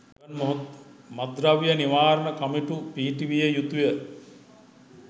මත්ද්‍රව්‍ය නිවාරණ කමිටු පිහිටවිය යුතුය